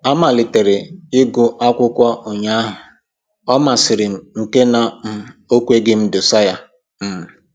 Amalitere ịgụ akwụkwọ ụnyahụ, ọ masịrị m nke na um o kweghị m idosa ya um